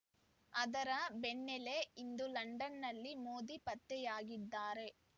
ಅದರ ಬೆನ್ನಲ್ಲೆ ಇಂದು ಲಂಡನ್‌ನಲ್ಲಿ ಮೋದಿ ಪತ್ತೆಯಾಗಿದ್ದಾರೆ